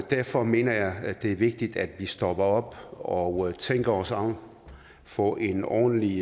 derfor mener jeg at det er vigtigt at vi stopper op og og tænker os om og får en ordentlig